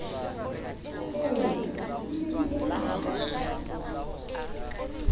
ee di ne di etsahalla